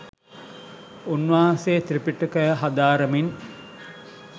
උන්වහන්සේ ත්‍රිපිටකය හදාරමින්